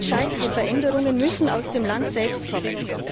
Entscheidende Veränderungen müssen aus dem Land selbst kommen.